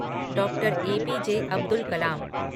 डॉ. ए.पी.जे. अब्दुल कलाम